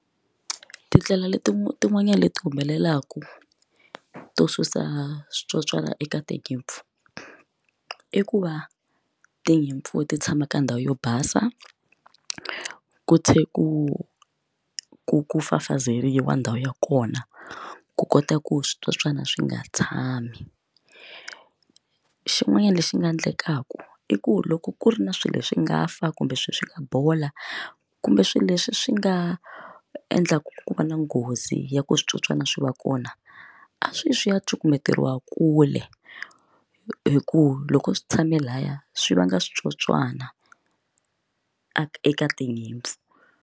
Tindlela leti tin'wanyani leti humelelaka to susa switsotswana eka tinyimpfu i ku va tinyimpfu ti tshama ka ndhawu yo basa ku tlhela ku ku fafazeriwa ndhawu ya kona ku kota ku switsotswana swi nga tshami xin'wanyana lexi nga endlekaka i ku loko ku ri na swilo swi nga fa kumbe swi bola kumbe swilo leswi swi nga endlaka ku va na nghozi ya ku switsotswana swi va kona a swi ya swi ya cukumetiwa kule hikuva loko swi tshame laya swi vanga switsotswana eka tinyimpfu.